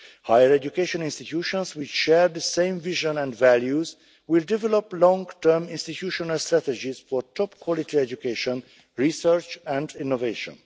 Higher education institutions which share the same vision and values will develop long term institutional strategies for top quality education, research and innovation.